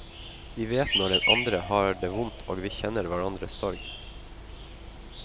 Vi vet når den andre har det vondt og vi kjenner hverandres sorg.